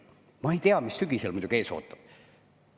Ma muidugi ei tea, mis sügisel ees ootab.